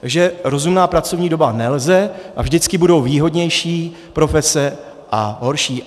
Takže rozumná pracovní doba nelze a vždycky budou výhodnější profese a horší.